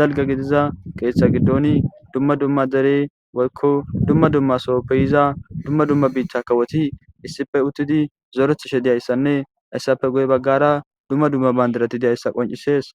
dalgga gidiza ketha gidoni dumma dumma dere woykko dumma dumma sohappe yizza dumma dumma bithay kawothi issippe uthidi zorethishe diyssanne hayssape guye baggara dumma dumma bandirathi diyssa qoncisess.